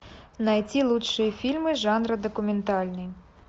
найти лучшие фильмы жанра документальный